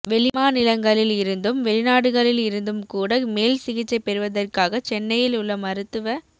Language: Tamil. வெளிமாநிலங்களில் இருந்தும் வெளிநாடுகளில் இருந்தும்கூட மேல் சிகிச்சை பெறுவதற்காக சென்னையில் உள்ள மருத்துவ